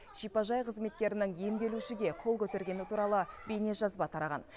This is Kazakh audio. шипажай қызметкерінің емделушіге қол көтергені туралы бейнежазба тараған